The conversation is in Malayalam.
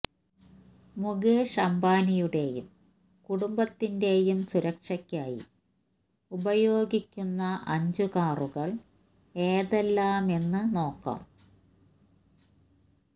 മുകേഷ് അംബാനിയുടെയും കുടുംബത്തിന്റെയും സുരക്ഷയ്ക്കായി ഉപയോഗിക്കുന്ന അഞ്ച് കാറുകള് ഏതെല്ലാമെന്ന് നോക്കാം